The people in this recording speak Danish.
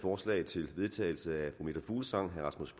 forslag til vedtagelse af fru meta fuglsang herre rasmus